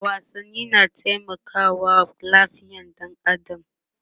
wasanni na taimakawa lafiyar ɗan adam